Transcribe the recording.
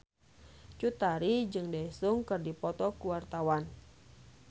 Cut Tari jeung Daesung keur dipoto ku wartawan